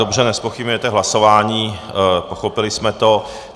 Dobře, nezpochybňujete hlasování, pochopili jsme to.